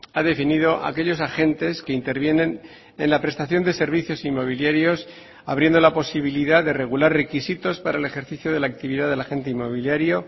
ha definido aquellos agentes que intervienen en la prestación de servicios inmobiliarios abriendo la posibilidad de regular requisitos para el ejercicio de la actividad del agente inmobiliario